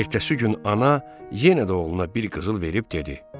Ertəsi gün ana yenə də oğluna bir qızıl verib dedi: